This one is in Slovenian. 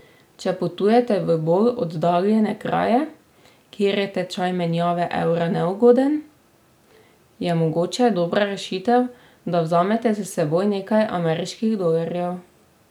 Če potujete v bolj oddaljene kraje, kjer je tečaj menjave evra neugoden, je mogoče dobra rešitev, da vzamete s seboj nekaj ameriških dolarjev.